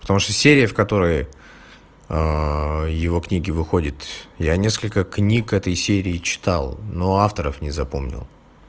потому что серия в которой его книги выходит я несколько книг этой серии читал но авторов не запомнил